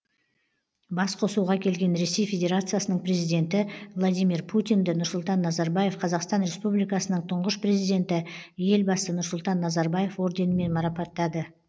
басқосуға келген ресей федерациясының президенті владимир путинді нұрсұлтан назарбаев қазақстан республикасының тұңғыш президенті елбасы нұрсұлтан назарбаев орденімен марапаттады